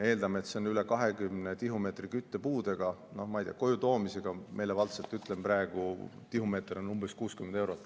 Eeldame, et see on üle 20 tihumeetri küttepuudega, no ma ei tea, koju toomisega, meelevaldselt ütlen praegu, tihumeeter on umbes 60 eurot.